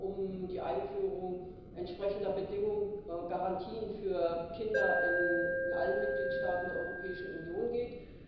um die Einführung entsprechender Bedingungen und Garantien für Kinder in allen Mitgliedstaaten der Europäischen Union geht.